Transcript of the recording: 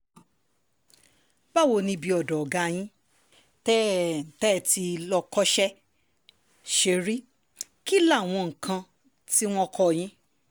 báwo ni ibi ọ̀dọ́ ọ̀gá yín tẹ́ tẹ́ ẹ ti lọ kọsẹ̀ ṣe rí kí láwọn nǹkan tí wọ́n kọ́ yín